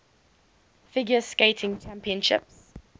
figure skating championships